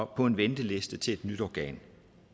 på en venteliste til et nyt organ